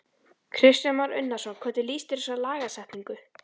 Kristján Már Unnarsson: Hvernig líst þér á þessa lagasetningu?